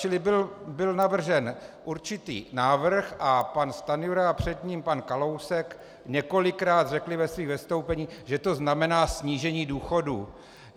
Čili byl navržen určitý návrh a pan Stanjura a před ním pan Kalousek několikrát řekli ve svých vystoupeních, že to znamená snížení důchodů.